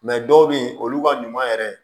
dɔw bɛ yen olu ka ɲuman yɛrɛ